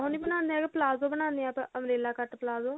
ਉਹ ਨਹੀਂ ਬਣਾਉਂਦੇ ਹੈਗੇ ਪਲਾਜੋ ਬਣਾਉਂਦੇ ਹਾਂ ਆਪਾਂ umbrella ਕੱਟ ਪਲਾਜੋ